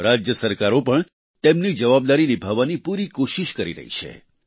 રાજ્ય સરકારો પણ તેમની જવાબદારી નિભાવવાની પૂરી કોશિશ કરી રહી છે